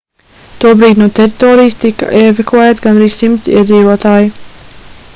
tobrīd no teritorijas tika evakuēti gandrīz 100 iedzīvotāji